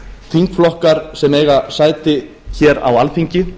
þingflokkar sem eiga sæti á alþingi